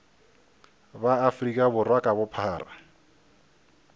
ba afrika borwa ka bophara